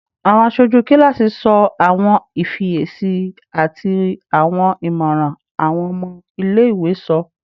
Awọn aṣoju kilasi sọ awọn ifiyesi ati awọn imọran awọn ọmọ ile-iwe sọ